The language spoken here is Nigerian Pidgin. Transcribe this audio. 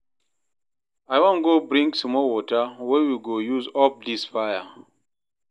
I wan go bring small water wey we go use off dis fire.